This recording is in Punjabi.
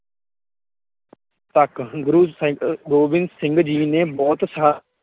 ਤਕ ਗੁਰੁ ਗੁਰੁ ਗੋਬਿੰਦ ਸਿੰਘ ਜੀ ਨੇ ਬਹੁਤ